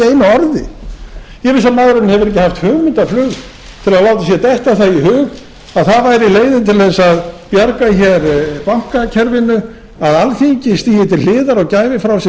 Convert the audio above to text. ekki haft hugmyndaflug til að láta sér detta það í hug að það væri leiðin til að bjarga bankakerfinu að alþingi stigi til hliðar og gæfi frá sér